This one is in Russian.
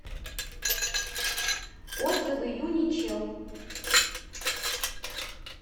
отзывы юничел